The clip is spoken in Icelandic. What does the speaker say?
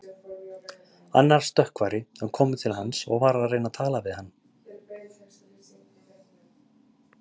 Annar stökkvari var kominn til hans og var að reyna að tala við hann.